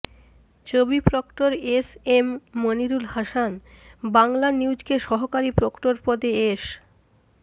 চবি proctor S M Monirul Hasan বাংলানিউজকে সহকারী প্রক্টর পদে এস